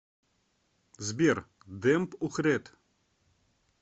сбер демб ухрет